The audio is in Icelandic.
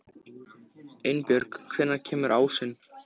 Einbjörg, hvenær kemur ásinn?